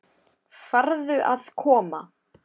Farðu að koma.